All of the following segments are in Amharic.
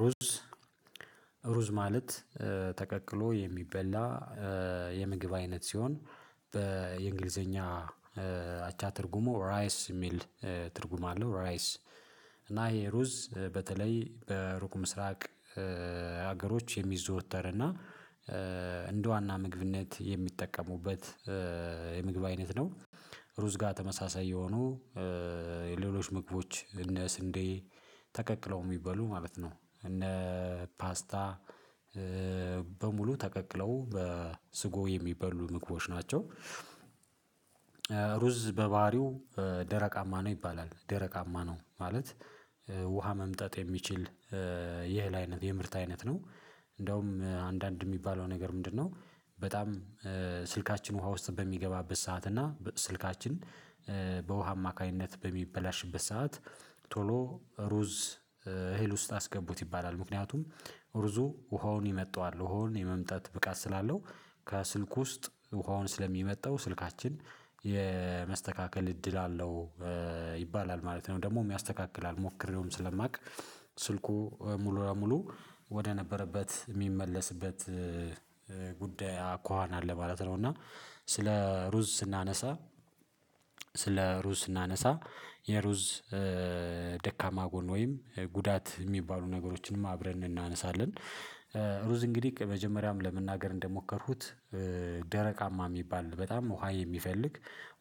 ሩዝ ሩዝ ማለት ተቀቅሎ የሚበላ የምግብ አይነት ሲሆን በየእንግሊዘኛ አቻ ትርጉሞ ራይስ የሚል ትርጉም አለው። ራይስ እና ይሄ ሩዝ በተለይ በሩቁ ምስራቅ ሀገሮች የሚዘወተር እና እንደ ዋና ምግብነት የሚጠቀሙበት የምግብ አይነት ነው። ሩዝ ጋር ተመሳሳይ የሆኑ የሌሎች ምግቦች እነ ስንዴ ተቀቅለው የሚበሉ ማለት ነው እነ ፓስታ በሙሉ ተቀቅለው በስጎ የሚበሉ ምግቦች ናቸው። ሩዝ በባህሪው ደረቃማ ነው ይባላል ደረቃማ ነው ማለት ውሃ መምጠጥ የሚችል የእህል አይነት የምርት አይነት ነው። እንደውም አንዳንድ የሚባለው ነገር ምንድነው? በጣም ስልካችን ውሃ ውስጥ በሚገባበት ሰዓት እና ስልካችን በውሃ አማካኝነት በሚበላሽበት ሰዓት ቶሎ ሩዝ እህል ውስጥ አስገቡት ይባላል። ምክንያቱም ሩዙ ውሃውን ይመጣዋል ውሃውን የመምጣት ብቃት ስላለው ከስልክ ውስጥ ውሃውን ስለሚመጣው ስልካችን የመስተካከል እድል አለው። ይባላል ማለት ነው ደግሞሞ ያስተካክላል ሞክሬውም ስለማውቅ ስልኩ ሙሉ ለሙሉ ወደ ነበረበት የሚመለስበት ጉዳይ አኳኋን አለ ማለት ነው። እና ስለ ሩዝ ስናነሳ ስለ ሩዝ ስናነሳ የሩዝ ደካማ ጎን ወይም ጉዳት የሚባሉ ነገሮችንም አብረን እናነሳለን። ሩዝ እንግዲህ መጀመሪያም ለመናገር እንደሞከርኩት ደረቃማ የሚባል በጣም ውሃ የሚፈልግ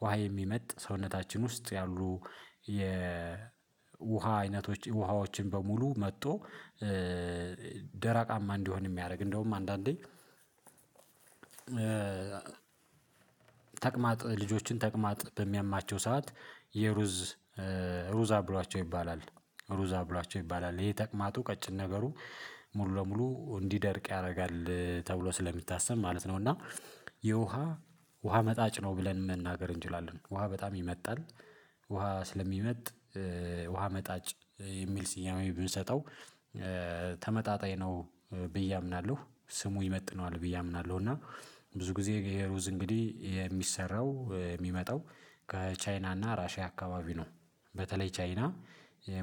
ውሃ የሚመጥ ሰውነታችን ውስጥ ያሉ የውሃ አይነቶች ውሃዎችን በሙሉ መጥቶ ደራቃማ እንዲሆን የሚያደርግ እንደውም አንዳንዴ ተቅማጥ ልጆችን ተቅማጥ በሚያማቸው ሰዓት የሩዝ ሩዝ አብሏቸው ይባላል። ሩዝ አብሏቸው ይባላል ይሄ ተቅማጡ ቀጭን ነገሩ ሙሉ ለሙሉ እንዲደርቅ ያደርጋል ተብሎ ስለሚታሰብ ማለት ነው። እና የውሃ ውሃ መጣጭ ነው ብለን መናገር እንችላለን ውሃ በጣም ይመጣል። ውሃ ስለሚመጥ ውሃ መጣጭ የሚል ስያሜ ብንሰጠው ተመጣጣኝ ነው ብዬ አምናለሁ ስሙ ይመጥነዋል ብዬ አምናለሁ። እና ብዙ ጊዜ ይሄ ሩዝ እንግዲህ የሚሰራው የሚመጣው ከቻይና እና ራሺያ አካባቢ ነው። በተለይ ቻይና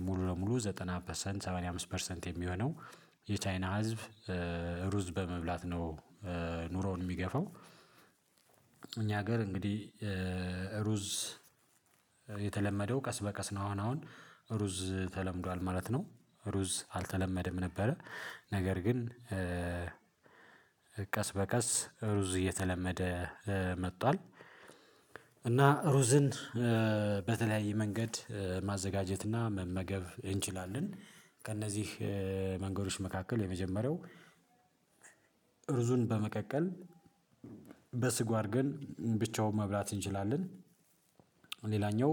ሙሉ ለሙሉ ዘጠና ፐርሰንት ሰማንያ አምስት ፐርሰንት የሚሆነው የቻይና ህዝብ ሩዝ በመብላት ነው። ኑሮውን የሚገፋው እኛ ሀገር እንግዲህ ሩዝ የተለመደው ቀስ በቀስ ነው አሁን አሁን ሩዝ ተለምዷል ማለት ነው። ሩዝ አልተለመደም ነበረ ነገር ግን ቀስ በቀስ ሩዝ እየተለመደ መጥቷል እና ሩዝን በተለያየ መንገድ ማዘጋጀትና መመገብ እንችላለን። ከእነዚህ መንገዶች መካከል የመጀመሪያው ሩዙን በመቀቀል በስጎ አድርገን ብቻውን መብላት እንችላለን። ሌላኛው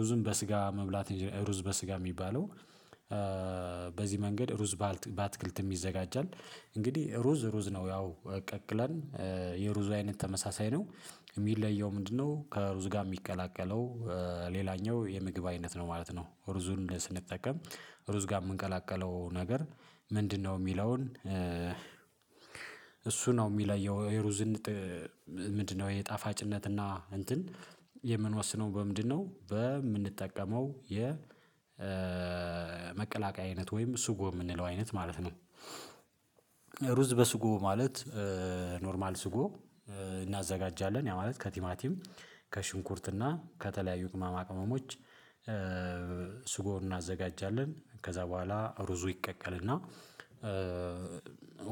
ሩዝም በስጋ መብላት ሩዝ በስጋ የሚባለው በዚህ መንገድ ሩዝ በአተክልትም ይዘጋጃል። እንግዲህ ሩዝ ሩዝ ነው ያው ቀቅለን የሩዙ አይነት ተመሳሳይ ነው የሚለየው ምንድነው? ከሩዝ ጋር የሚቀላቀለው ሌላኛው የምግብ አይነት ነው ማለት ነው። ሩዙን ስንጠቀም ሩዝ ጋር የምንቀላቀለው ነገር ምንድነው? የሚለውን እሱ ነው የሚለየው የሩዝን ምንድነው የጣፋጭነትና እንትን የምንወስነው በምንድነው በምንጠቀመው የመቀላቀያ አይነት ወይም ስጎ የምንለው አይነት ማለት ነው። ሩዝ በስጎ ማለት ኖርማል ስጎ እናዘጋጃለን ያ ማለት ከቲማቲም ከሽንኩርት እና ከተለያዩ ቅመማ ቅመሞች ስጎን እናዘጋጃለን ከዛ በኋላ ሩዙ ይቀቀልና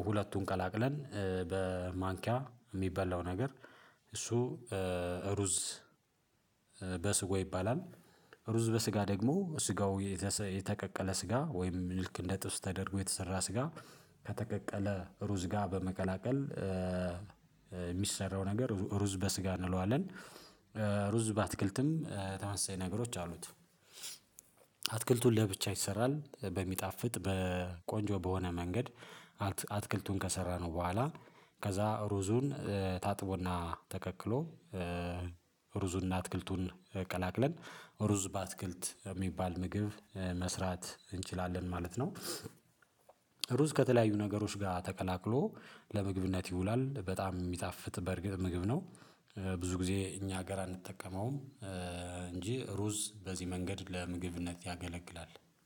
ሁለቱን ቀላቅለን በማንኪያ የሚበላው ነገር እሱ ሩዝ በስጎ ይባላል። ሩዝ በስጋ ደግሞ ስጋው የተቀቀለ ስጋ ወይም ልክ እንደ ጥብስ ተደርጎ የተሰራ ስጋ ከተቀቀለ ሩዝ ጋር በመቀላቀል የሚሰራው ነገር ሩዝ በስጋ እንለዋለን። ሩዝ በአተክልትም ተመሳሳይ ነገሮች አሉት። አተክልቱን ለብቻ ይሰራል በሚጣፍጥ በቆንጆ በሆነ መንገድ አተክልቱን ከሰራነው በኋላ ከዛ ሩዙን ታጥቦና ተቀቅሎ ሩዙንና አተክልቱን ቀላቅለን ሩዝ በአተክልት የሚባል ምግብ መስራት እንችላለን ማለት ነው። ሩዝ ከተለያዩ ነገሮች ጋር ተቀላቅሎ ለምግብነት ይውላል በጣም የሚያጣፍጥ በእርግጥ ምግብ ነው። ብዙ ጊዜ እኛ ሀገር አንጠቀመውም እንጂ ሩዝ በዚህ መንገድ ለምግብነት ያገለግላል።